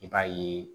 I b'a ye